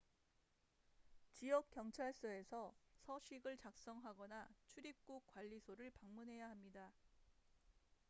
지역 경찰서에서 서식을 작성하거나 출입국 관리소를 방문해야 합니다